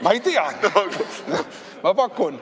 Ma ei teagi, ma pakun.